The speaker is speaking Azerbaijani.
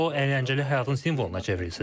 Qoy o əyləncəli həyatın simvoluna çevrilsin.